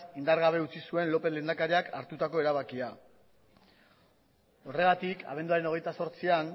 indar gabe utzi zuen lópez lehendakariak hartutako erabakia horregatik abenduaren hogeita zortzian